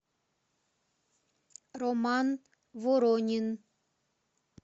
роман воронин